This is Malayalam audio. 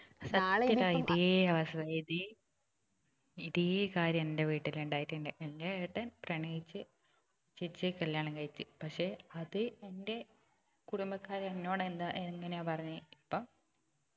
സത്യം ഡാ ഇതേ അവസ്ഥ ഇതേ ഇതേ കാര്യം എന്റെ വീട്ടിൽ ഉണ്ടായിട്ടുണ്ട് എന്റെ ഏട്ടൻ പ്രണയിച്ച് ചേച്ചിയെ കല്യാണം കഴിച്ച് പക്ഷെ അത് എന്റെ കുടുംബക്കാര് എന്നോട് എന്താ എങ്ങനെയാ പറഞ്ഞത് ഇപ്പം